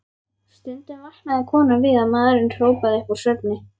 Stundum vaknaði konan við að maðurinn hrópaði upp úr svefni: